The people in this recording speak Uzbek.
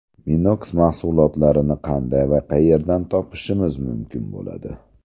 Minox mahsulotlarini qanday va qayerdan topishimiz mumkin bo‘ladi?